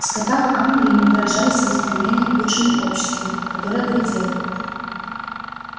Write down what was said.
в скотах англии мы выражали своё стремление к лучшему обществу которое грядёт